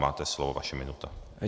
Máte slovo, vaše minuta.